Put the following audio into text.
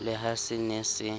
le ha se ne se